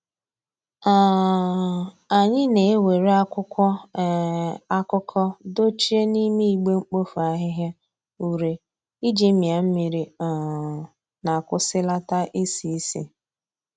um Anyị na e were akwụkwọ um akụkọ dochie n'ime igbe mkpofu ahihia ure iji mia mmiri um na kwụsịlata isi isi